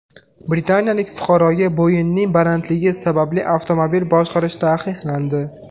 Britaniyalik fuqaroga bo‘yining balandligi sababli avtomobil boshqarish taqiqlandi.